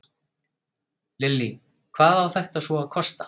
Lillý, hvað á þetta svo að kosta?